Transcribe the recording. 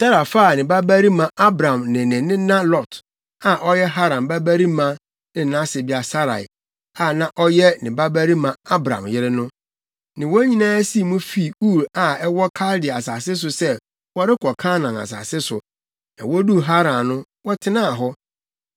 Tera faa ne babarima Abram ne ne nena Lot, a ɔyɛ Haran babarima ne nʼasebea Sarai, a na ɔyɛ ne babarima Abram yere no, ne wɔn nyinaa sii mu fii Ur a ɛwɔ Kaldea asase so sɛ wɔrekɔ Kanaan asase so. Na woduu Haran no, wɔtenaa hɔ.